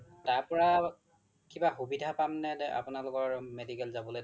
তাৰ পৰা কিবা সুবিধা পাম নে আপোনালোকৰ medical যাবলে